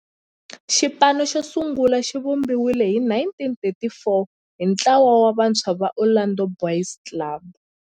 Xipano xosungula xivumbiwile hi 1934 hi ntlawa wa vantshwa va Orlando Boys Club.